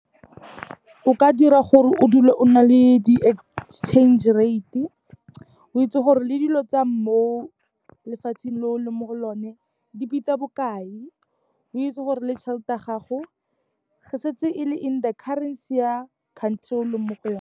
O ka dira gore o dule o na le di-exchange rate-e, o itse gore le dilo tsa mo lefatsheng le o leng mo go lone, di bitsa bokae. O itse gore le tšhelete ya gago, ge setse e le in the currency ya country eo o leng mo go yone.